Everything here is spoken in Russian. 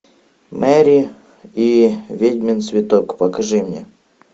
мэри и ведьмин цветок покажи мне